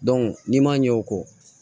n'i ma ɲɛ o kɔ